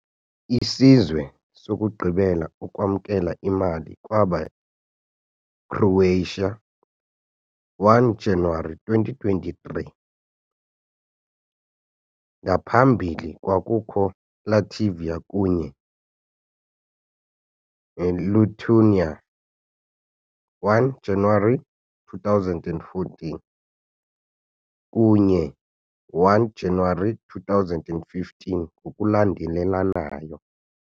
Isizwe sokugqibela ukwamkela imali kwaba Croatia 1 January 2023, ngaphambili kwakukho Latvia kunye Lithuania, 1 January 2014 kunye 1 January 2015 ngokulandelanayo.